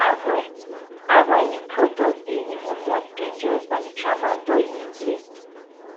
aveo aveo new product dey even more dangerous dan di tramadol e replace